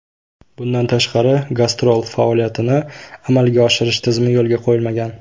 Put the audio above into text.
Bundan tashqari, gastrol faoliyatini amalga oshirish tizimi yo‘lga qo‘yilmagan.